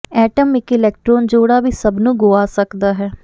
atom ਇੱਕ electron ਜੋੜਾ ਵੀ ਸਭ ਨੂੰ ਗੁਆ ਸਕਦਾ ਹੈ